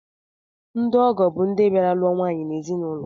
Ndo ọgọ bụ ndị bịara lụọ nwaanyị n'ezinụlọ